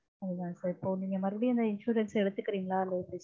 அதுதா sir இப்போ நீங்க மறுபடியும் இந்த insurance எடுத்துக்கறீங்களா?